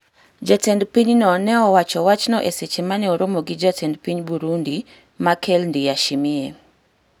Jatend pinyno ne owacho wachno e seche ma ne oromo gi jatend piny Burundi, Machel Ndiyashimiye